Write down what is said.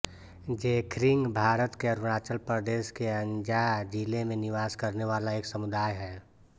ज़ेख्रिंग भारत के अरुणाचल प्रदेश के अंजॉ ज़िले में निवास करने वाला एक समुदाय है